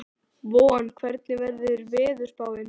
Von, hvernig er veðurspáin?